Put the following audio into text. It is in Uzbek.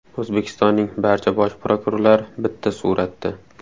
O‘zbekistonning barcha bosh prokurorlari bitta suratda.